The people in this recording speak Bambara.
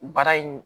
Baara in